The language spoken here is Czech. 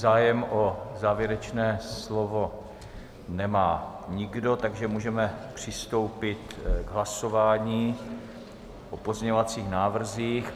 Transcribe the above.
Zájem o závěrečné slovo nemá nikdo, takže můžeme přistoupit k hlasování o pozměňovacích návrzích.